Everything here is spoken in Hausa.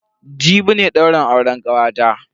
Jibi ne daurin auren kanwata.